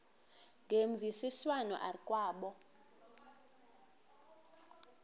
ngemvisiswano r kwabo